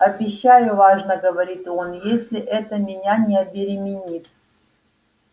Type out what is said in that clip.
обещаю важно говорит он если это меня не обеременит